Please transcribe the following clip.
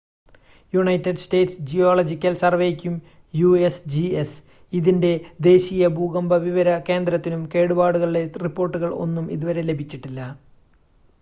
United States geological സർവേയ്ക്കും USGS ഇതിന്റെ ദേശീയ ഭൂകമ്പ വിവര കേന്ദ്രത്തിനും കേടുപാടുകളുടെ റിപ്പോർട്ടുകൾ ഒന്നും ഇതുവരെ ലഭിച്ചിട്ടില്ല